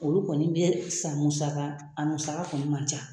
Olu kɔni bɛ san musaka a musaka kɔni man ca